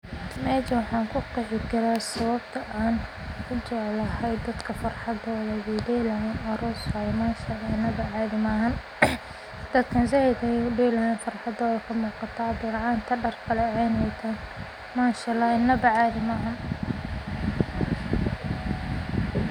Mejaan waxaan kuqeehi karaa dadka farxad wey delayaan aroos waye masha allah cadhi maahan. Dadkan zaid bey udeelayan farxadoodha kamooqata bilcanta dar kalaceen bey wataan masha allah inaba caadhi maahan.